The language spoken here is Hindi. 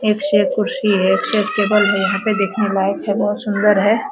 एक से एक कुर्सी है एक से एक टेबल है यहाँ पे देखने लायक है बहोत सुंदर है।